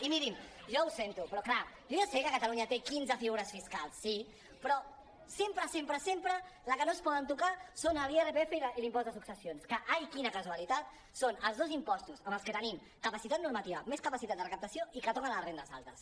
i mirin jo ho sento però clar jo ja ho sé que catalunya té quinze figures fiscals sí però sempre sempre sempre les que no es poden tocar són l’irpf i l’impost de successions que ai quina casualitat són els dos impostos amb els que tenim capaci·tat normativa més capacitat de recaptació i que toquen les rendes altes